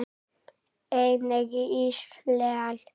Einnig í Ísrael.